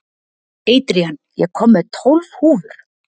Adrian, ég kom með tólf húfur!